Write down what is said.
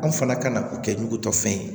Anw fana ka kan o kɛ nugutɔ fɛn ye